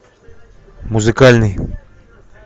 музыкальный